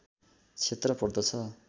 क्षेत्र पर्दछ